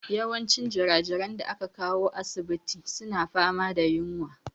Yawancin jirajiran da aka kawo asibitin suna fama da yunwa.